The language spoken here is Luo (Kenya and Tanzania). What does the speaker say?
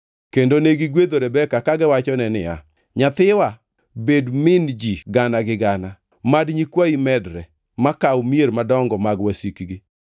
Kendo negigwedho Rebeka kagiwachone niya, “Nyathiwa, bed min ji gana gi gana; mad nyikwayi medre ma kaw mier madongo mag wasikgi.”